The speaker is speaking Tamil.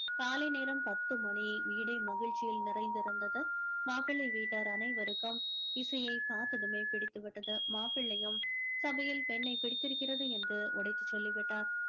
காலை நேரம் பத்து மணி வீடே மகிழ்ச்சியில் நிறைந்திருந்தது மாப்பிளை வீட்டார் அனைவருக்கும் இசையை பார்த்ததுமே பிடித்து விட்டது மாப்பிள்ளையும் சபையில் பெண்ணை பிடித்திருக்கிறது என்று உடைத்துச் சொல்லிவிட்டார்